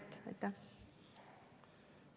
Riina Sikkut, palun!